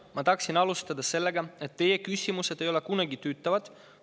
Ma tahaksin alustada sellega, et teie küsimused ei ole kunagi tüütavad.